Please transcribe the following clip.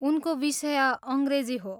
उनको विषय अङ्ग्रेजी हो।